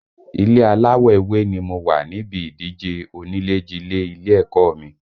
Ilé aláwọ̀ ewé ni mo wà níbi ìdíje onílé jilé ilé ẹ̀kọ́ ọ mi